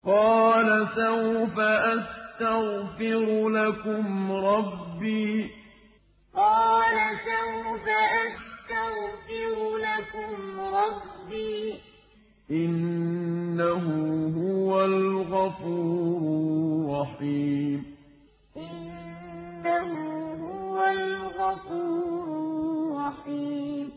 قَالَ سَوْفَ أَسْتَغْفِرُ لَكُمْ رَبِّي ۖ إِنَّهُ هُوَ الْغَفُورُ الرَّحِيمُ قَالَ سَوْفَ أَسْتَغْفِرُ لَكُمْ رَبِّي ۖ إِنَّهُ هُوَ الْغَفُورُ الرَّحِيمُ